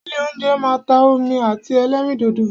Ilé óúnjẹ máa ń ta omi àti ẹlẹ́rìndòdò.